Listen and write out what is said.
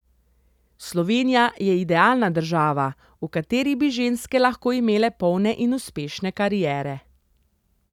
Slovenija je idealna država, v kateri bi ženske lahko imele polne in uspešne kariere.